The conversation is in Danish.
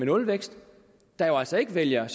nulvækst der jo altså ikke vælger